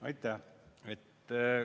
Aitäh!